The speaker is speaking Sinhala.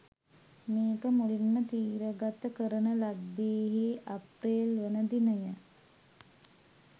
මේක මුලින්ම තිරගත කරන ලද්දේහේ අප්‍රේල්වන දිනය.